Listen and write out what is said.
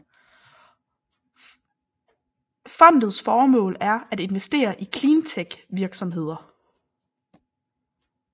Fondets formål er at investere i cleantechvirksomheder